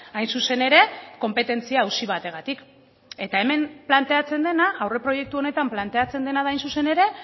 hain zuzen ere konpetentzia auzi bategatik eta hemen planteatzen dena aurreproiektu honetan planteatzen dena da hain zuzen ere